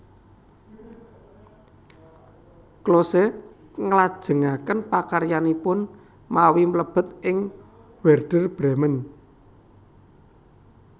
Klose nglajengaken pakaryanipun mawi mlebet ing Wèrder Brèmen